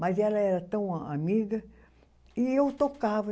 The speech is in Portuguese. Mas ela era tão a amiga e eu tocava.